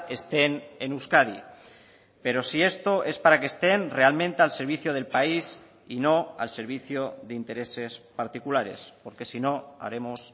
estén en euskadi pero si esto es para que estén realmente al servicio del país y no al servicio de intereses particulares porque si no haremos